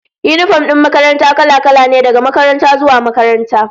Yinifom din makaranta kala-kala ne, daga makaranta zuwa makaranta